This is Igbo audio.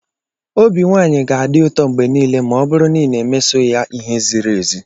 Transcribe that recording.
Obi nwanyị ga-adị ụtọ mgbe niile ma ọ bụrụ na ị na-emeso ya ihe ziri ezi.